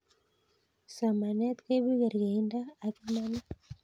somanet koipu kerkeindo ak imanit